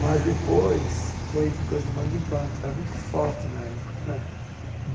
Mas depois foi coisa de bang-bang, que era muito forte na época né.